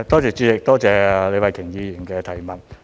主席，多謝李慧琼議員的補充質詢。